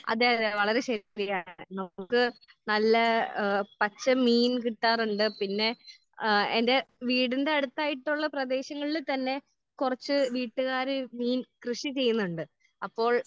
അതെ അതെ അതെ വളരെ ടേസ്റ്റിയാണ് അത്. നമുക്ക് നല്ല പച്ച മീൻ കിട്ടാറുണ്ട്. പിന്നെ ആഹ് എന്റെ വീടിന്റെ അടുത്തായിട്ടുള്ള പ്രദേശങ്ങളിൽ തന്നെ കുറച്ച് വീട്ടുകാർ മീൻ കൃഷി ചെയ്യുന്നുണ്ട്. അപ്പോൾ